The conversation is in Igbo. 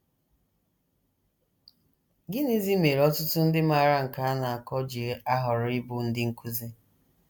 Gịnịzi mere ọtụtụ ndị maara nke a na - akọ ji ahọrọ ịbụ ndị nkụzi?